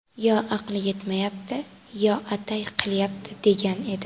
Yo aqli yetmayapti, yo atay qilyapti”, degan edi.